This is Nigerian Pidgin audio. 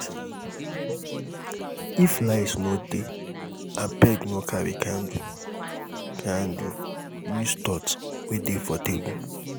if light no dey abeg no carry candle candle use torch wey dey for table